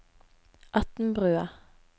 Atnbrua